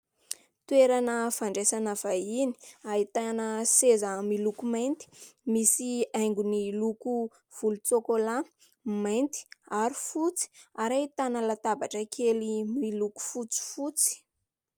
Toerana fandraisana vahiny, ahitana seza miloko mainty, misy haingony loko volotsokola, mainty ary fotsy ary ahitana latabatra kely miloko fotsifotsy.